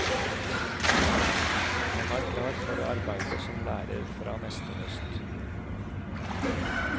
Han er klar for å arbeide som lærer fra neste høst.